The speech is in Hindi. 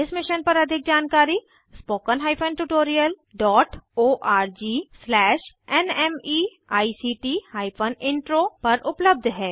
इस मिशन पर अधिक जानकारी httpspoken tutorialorgNMEICT Intro पर उपलब्ध है